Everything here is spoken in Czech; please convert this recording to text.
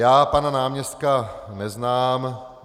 Já pana náměstka neznám.